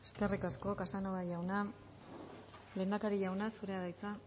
eskerrik asko casanova jauna lehendakari jauna zurea da hitza